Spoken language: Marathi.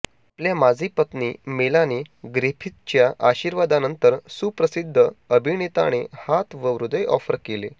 आपल्या माजी पत्नी मेलानी ग्रिफिथच्या आशीर्वादानंतर सुप्रसिद्ध अभिनेताने हात व हृदय ऑफर केले